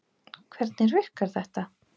Hvernig virkar þetta?